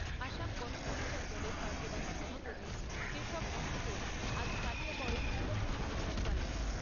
অসম গণ পরিষদ দলের কার্যবাহী সভাপতি কেশব মহন্তও আজ কলিয়াবরে নির্বাচনী প্রচার চালান।